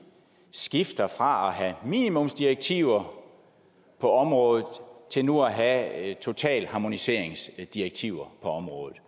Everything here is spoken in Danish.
skifter fra at have minimumsdirektiver på området til nu at have totalharmoniseringsdirektiver på området